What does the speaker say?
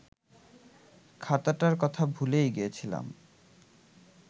খাতাটার কথা ভুলেই গিয়েছিলাম